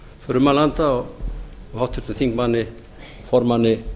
frummælanda og háttvirtur þingmaður formanni